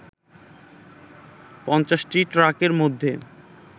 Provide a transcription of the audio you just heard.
পঞ্চাশটি ট্রাকের মধ্যে